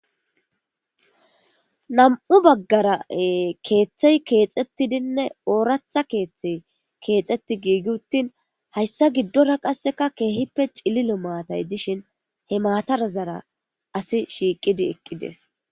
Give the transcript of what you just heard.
nam7u baggara keeththey keexettidinne ooratha keeththey keexetti giigi uttin hayssa giddora qasseka keehippe cililo maatay dishin he maatarazara asi shiiqidi eqqides